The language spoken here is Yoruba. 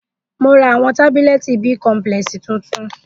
Mo ra awọn tabulẹti bicomplex tuntun